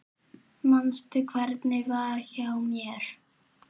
Manstu hvernig var hjá mér?